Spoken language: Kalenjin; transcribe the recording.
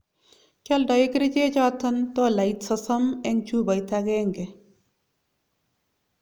Kialdoi kerichek choton tollait sosom en chupait agenge